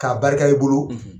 K'a barika, i bolo